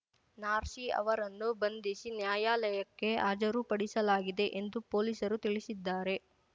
ನಾರ್ಸಿ ಅವರನ್ನು ಬಂಧಿಸಿ ನ್ಯಾಯಾಲಯಕ್ಕೆ ಹಾಜರುಪಡಿಸಲಾಗಿದೆ ಎಂದು ಪೊಲೀಸರು ತಿಳಿಸಿದ್ದಾರೆ